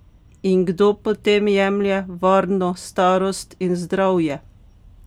In kdo potem jemlje varno starost in zdravje?